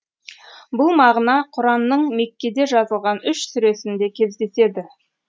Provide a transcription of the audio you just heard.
бұл мағына құранның меккеде жазылған үш сүресінде кездеседі